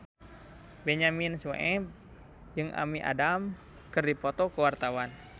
Benyamin Sueb jeung Amy Adams keur dipoto ku wartawan